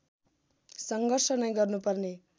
सङ्घर्ष नै गर्नुपर्ने